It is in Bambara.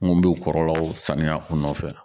Mun bɛ kɔlɔlɔw sanuya kun nɔfɛ